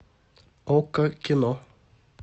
окко кино